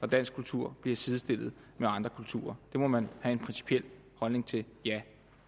dansk kultur bliver sidestillet med andre kulturer det må man have en principiel holdning til ja